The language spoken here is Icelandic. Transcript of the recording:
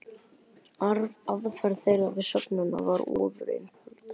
Aðferð þeirra við söfnunina var ofureinföld.